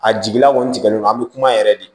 A jigila kɔni tigɛlen don an bɛ kuma yɛrɛ de